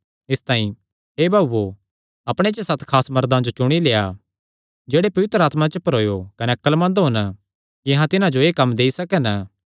इसतांई हे भाऊओ अपणे च सत खास मर्दां जो चुणी लेआ जेह्ड़े पवित्र आत्मा च भरोयो कने अक्लमंद होन कि अहां तिन्हां जो एह़ कम्म देई सकन